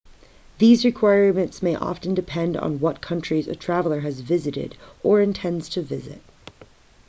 these requirements may often depend on what countries a traveller has visited or intends to visit